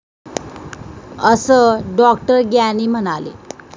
असं डॉ. ग्यानी म्हणाले.